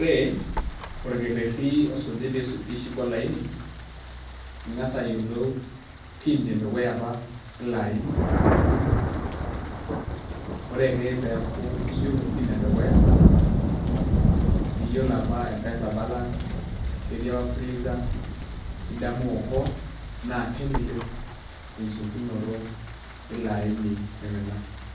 ore olkereti osuji pee ishuk olaini, naa ing'as ayiolou pin edukuya apa ele aini, ore eke peeku iyiolo pin edukuya. nyiolo apa mpesa balance ketii apa fuliza idamu okoa naa keleleku enchukunoto eilo aini oiimina.